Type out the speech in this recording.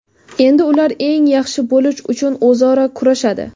Endi ular eng yaxshi bo‘lish uchun o‘zaro kurashadi.